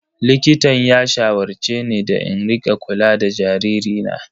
Likitan ya shawarce ni da in rika kula da jaririna.